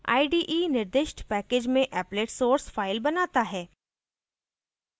ide निर्दिष्ट package में applet source file बनाता है